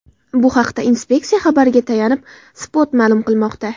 Bu haqda inspeksiya xabariga tayanib, Spot ma’lum qilmoqda .